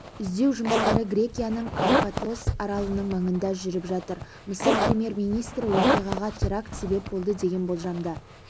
іздеу жұмыстары грекияның карпатос аралының маңында жүріп жатыр мысыр премьер-министрі оқиғаға теракт себеп болды деген болжамды